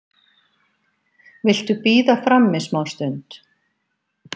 Viltu bíða frammi smástund?